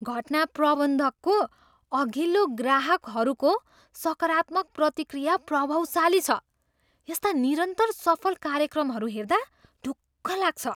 घटना प्रबन्धकको अघिल्लो ग्राहकहरूको सकारात्मक प्रतिक्रिया प्रभावशाली छ। यस्ता निरन्तर सफल कार्यक्रमहरू हेर्दा ढुक्क लाग्छ।